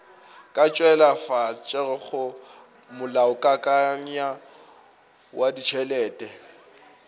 ka tšweletšago molaokakanywa wa ditšhelete